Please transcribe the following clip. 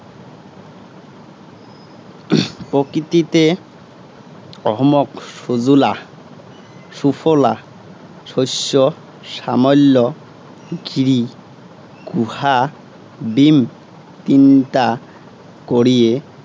প্ৰকৃতিতে অসমক সুজলা সুফলা, শস্য শ্যামল্য় গিৰি গুহা বিম তিনটা কৰিয়ে